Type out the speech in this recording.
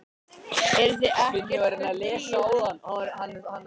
Sindri: Eruð þið ekkert fúlir út í ríkisvaldið?